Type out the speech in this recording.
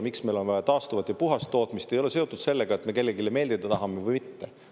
Miks meil on vaja taastuvat ja puhast tootmist, ei ole seotud sellega, et me tahame kellelegi meeldida ja kellelegi mitte.